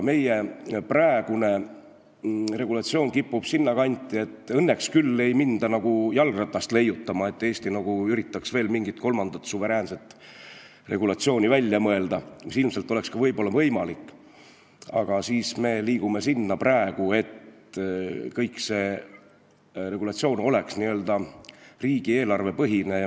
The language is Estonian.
Meie praegune regulatsioon kipub aga liikuma sinnakanti, kus õnneks ei minda küll päris jalgratast leiutama – Eesti ei ürita veel mingit kolmandat suveräänset regulatsiooni välja mõelda, mis oleks ilmselt samuti võimalik –, kuid kogu süsteem oleks n-ö riigieelarvepõhine.